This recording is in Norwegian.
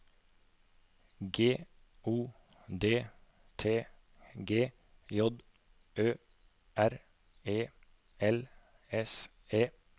G O D T G J Ø R E L S E